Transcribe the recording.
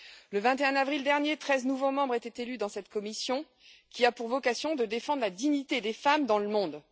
Le 21 avril dernier, treize nouveaux membres étaient élus dans cette commission, qui a pour vocation de défendre la dignité des femmes dans le monde.